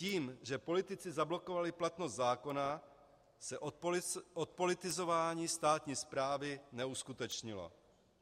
Tím, že politici zablokovali platnost zákona, se odpolitizování státní správy neuskutečnilo.